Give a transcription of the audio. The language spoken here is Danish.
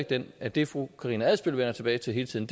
den at det fru karina adsbøl vender tilbage til hele tiden